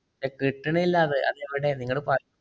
ഏർ കിട്ടണില്ലെന്നേ. അത് എവിടെ, നിങ്ങള് പ~